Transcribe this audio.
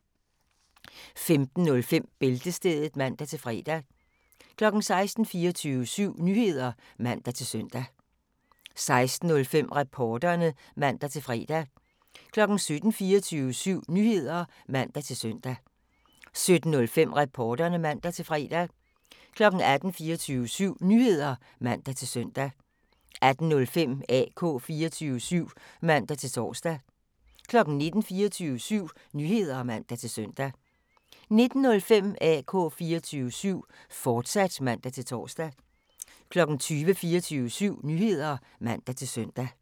15:05: Bæltestedet (man-fre) 16:00: 24syv Nyheder (man-søn) 16:05: Reporterne (man-fre) 17:00: 24syv Nyheder (man-søn) 17:05: Reporterne (man-fre) 18:00: 24syv Nyheder (man-søn) 18:05: AK 24syv (man-tor) 19:00: 24syv Nyheder (man-søn) 19:05: AK 24syv, fortsat (man-tor) 20:00: 24syv Nyheder (man-søn)